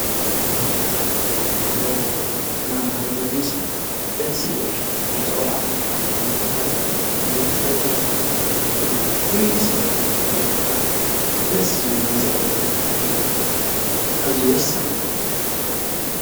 ምህሮ ተምሃሮ እናመሓረ ዘር ምስሊ ድሕስ ይብል ከም ዝቕልዕቐንካ ኸተመሃር መምህርቲፈርሕ መምህርቲ ኽትግል ፍሪ ስበዕ ትምህርቲ ኽልወካ ድስ ዝበል ጊዜ ወልአነት ክትሃልፍ እዙይ ወሳን እዩ ::